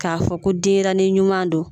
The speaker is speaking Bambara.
K'a fɔ ko denɲɛrɛnin ɲuman don